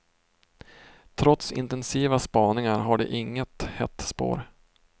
Trots intensiva spaningar har de inget hett spår.